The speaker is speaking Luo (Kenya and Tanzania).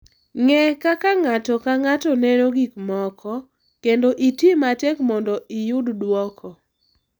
Ng’e kaka ng’ato ka ng’ato neno gik moko, kendo iti matek mondo iyud duoko